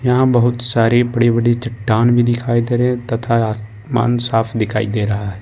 यहां बहुत सारी बड़ी-बड़ी चट्टान भी दिखाई दे रही है तथा आसमान साफ दिखाई दे रहा है।